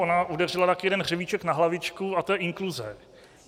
Ona udeřila taky jeden hřebíček na hlavičku a to je inkluze.